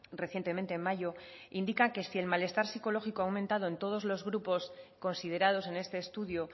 recientemente en mayo indica que si el malestar psicológico ha aumentado en todos los grupos considerados en este estudio